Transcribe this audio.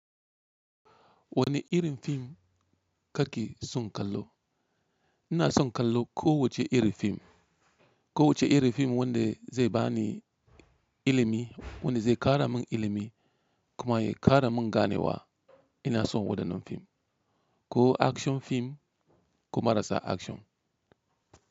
Wani irin fim kake son kallo? Ina son kallo ko wacce iri fim. Ko wacce iri fim wanda zai bani ilimi, wanda zai kara mun ilimi kuma ya kara mun gane wa, ina son wadannan fim. Ko action fim ko marasa action.